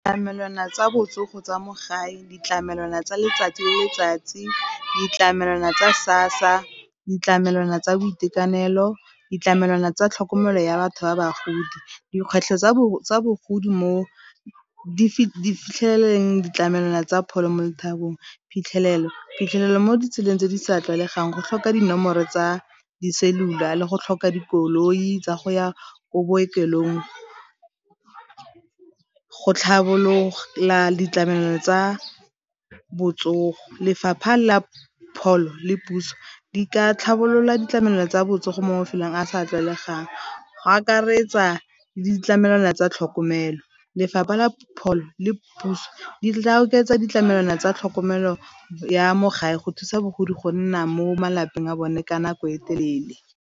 Ditlamelwana tsa botsogo tsa mo gae, ditlamelwana tsa letsatsi le letsatsi, ditlamelwana tsa SASSA, ditlamelwana tsa boitekanelo, ditlamelwana tsa tlhokomelo ya batho ba bagodi. Dikgwetlho tsa bogodi mo di fitlheleleng ditlamelwana tsa pholo mo le . Phitlhelelo, phitlhelelo mo ditseleng tse di sa tlwaelegang go tlhoka dinomoro tsa di-cellular le go tlhoka dikoloi tsa go ya ko bookelong, go tlhabolola ditlamelo tsa botsogo, lefapha la pholo le puso di ka tlhabolola ditlamelo tsa botsogo mo mafelong a sa tlwaelegang, go akaretsa le ditlamelwana tsa tlhokomelo. Lefapha la pholo le puso di tla oketsa ditlamelwana tsa tlhokomelo ya mo gae go thusa bagodi go nna mo malapeng a bone ka nako e telele.